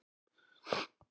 Parketið er ónýtt.